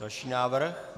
Další návrh.